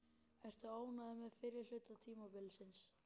Ertu ánægður með fyrri hluta tímabilsins?